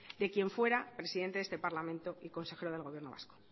de quien fuera presidente de este parlamento y consejero del gobierno vasco